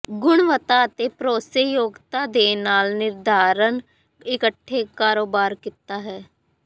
ਗੁਣਵੱਤਾ ਅਤੇ ਭਰੋਸੇਯੋਗਤਾ ਦੇ ਨਾਲ ਨਿਰਧਾਰਨ ਇਕੱਠੇ ਕਾਰੋਬਾਰ ਕੀਤਾ ਹੈ